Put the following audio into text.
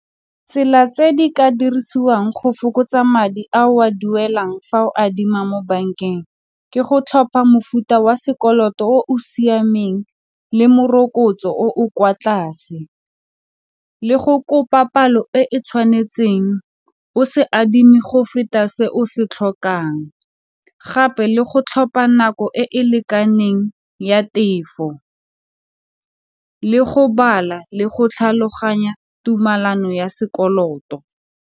Tsela tse di ka dirisiwang go fokotsa madi a o a duelang fa o adima mo bankeng ke go tlhopha mofuta wa sekoloto o o siameng le morokotso o o kwa tlase, le go kopa palo e e tshwanetseng o se adimi go feta se o se tlhokang, gape le go tlhopha nako e e lekaneng ya tefo le go bala le go tlhaloganya tumalano ya sekoloto.